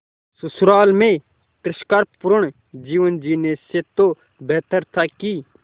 ससुराल में तिरस्कार पूर्ण जीवन जीने से तो बेहतर था कि